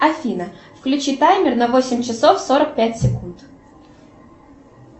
афина включи таймер на восемь часов сорок пять секунд